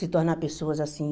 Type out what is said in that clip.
Se tornar pessoas assim.